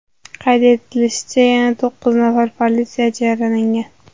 Qayd etilishicha, yana to‘qqiz nafar politsiyachi yaralangan.